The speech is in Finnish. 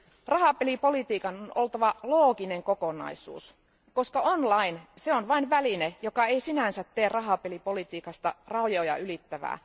Rahapelipolitiikan on oltava looginen kokonaisuus, koska online pelaaminen on vain väline, joka ei sinänsä tee rahapelipolitiikasta rajoja ylittävää.